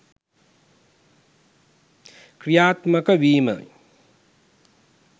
ක්‍රියාත්මක වීමයි.